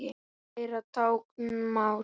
Læra táknmál